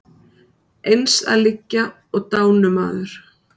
Eins að liggja og dánumaður.